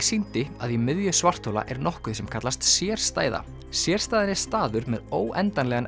sýndi að í miðju svarthola er nokkuð sem kallast sérstæða sérstæðan er staður með óendanlegan